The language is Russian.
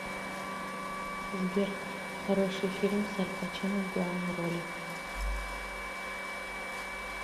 сбер хороший фильм с аль пачино в главной роли